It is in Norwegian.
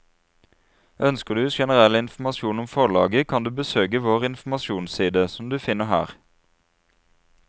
Ønsker du generell informasjon om forlaget kan du besøke vår informasjonsside, som du finner her.